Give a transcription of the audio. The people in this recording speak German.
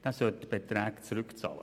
Er sollte die Beträge zurückzahlen.